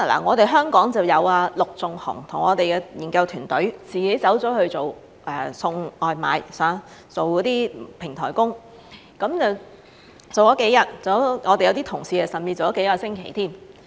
我們香港就有陸頌雄議員和我們的研究團隊自己去送外賣，做數天平台工，我們的一些同事甚至做了數個星期。